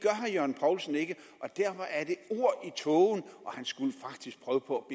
herre jørgen poulsen ikke og derfor er i tågen og han skulle faktisk prøve på